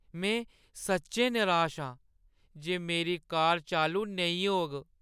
में सच्चैं निराश आं जे मेरी कार चालू नेईं होग।